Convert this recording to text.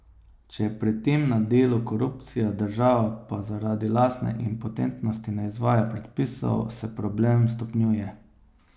Če je pri tem na delu korupcija, država pa zaradi lastne impotentnosti ne izvaja predpisov, se problem stopnjuje.